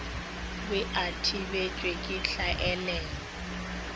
be a thibetšwe ke hlaelelo